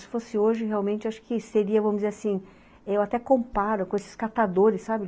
Se fosse hoje, realmente, acho que seria, vamos dizer assim, eu até comparo com esses catadores, sabe?